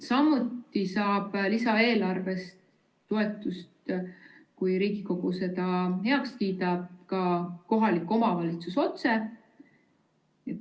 Samuti saab lisaeelarvest, kui Riigikogu selle heaks kiidab, toetust ka kohalik omavalitsus otse.